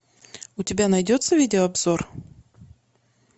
у тебя найдется видеообзор